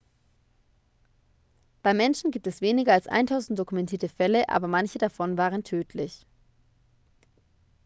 beim menschen gibt es weniger als eintausend dokumentierte fälle aber manche davon waren tödlich